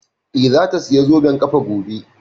Eh, za ta saya zoben ƙafa gobe